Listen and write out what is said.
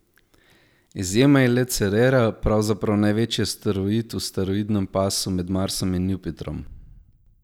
Izjema je le Cerera, pravzaprav največji asteroid v asteroidnem pasu med Marsom in Jupitrom.